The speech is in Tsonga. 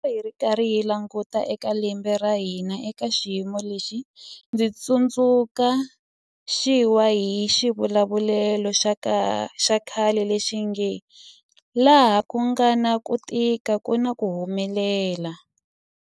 Loko hi karhi hi languta eka lembe ra hina eka xiyimo lexi, ndzi tsundzu xiwa hi xivulavulelo xa khale lexi nge 'laha ku nga na ku tika ku na ku humelela'.